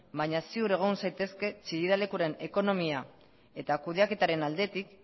baina ziur egon zaitezke chillida lekuren ekonomia eta kudeaketaren aldetik